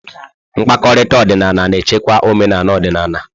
Mkpakọrịta ọdịnala na-echekwa omenala ọdịnala.